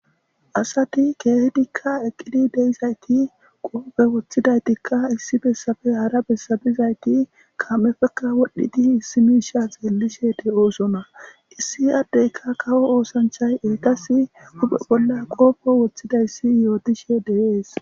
asati keehidikka eqqidi deizayti qoope woththidaytikka issi bessabe hara bessabizayti kaam7efekka wodhdhidi issi miisha xeellishe de7oosona issi addeyka kawo oosanchay eeqas uphe bolla qoopo woththidayssi yootishe de7es